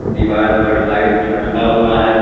दीवार पर लाइट लटका हुआ है।